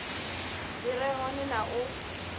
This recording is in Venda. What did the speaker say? dzi re hone na u